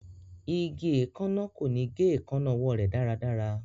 Igi eekanna ko ni ge eekanna ọwọ rẹ daradara